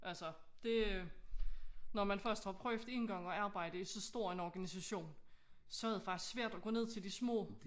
Altså det når man først har prøvet én gang at arbejde i så stor en organisation så er det faktisk svært at gå ned til de små